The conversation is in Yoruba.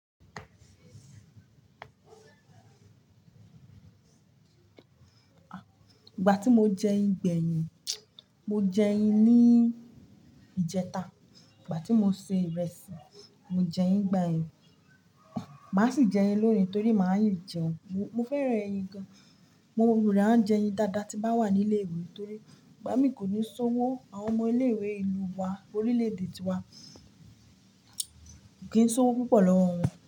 Ìgbà tí mo jẹ ẹyin gbẹ̀yìn, mo jẹ ẹyin ní ìjẹta. Ìgbà tí mo se ìrẹsì, mo jẹ ẹyin igbayen. Màá sì jẹ ẹyin lónìí torí máa yi jẹun. Mo fẹ́ràn ẹyin gan. Mo rò a jẹ ẹyin dáadáa tí bá wà ní ilé ìwé torí ìgbà mí kò ní ṣówó, àwọn ọmọ ilé ìwé ìlú wa, orílẹ̀ èdè ti wa kì í ṣówó púpọ̀ lọ́wọ́ wọn.